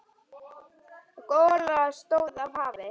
Gola stóð af hafi.